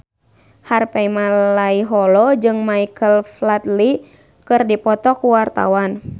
Harvey Malaiholo jeung Michael Flatley keur dipoto ku wartawan